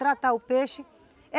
Tratar o peixe